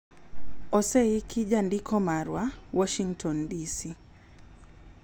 Oseiki gi jandiko marwa, Washington DC.